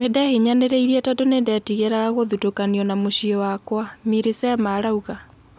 Nindehinyanireirie tandũ nindetigeraga gũthũtokanio na mucie wakwa guthuka",Millisema arauga.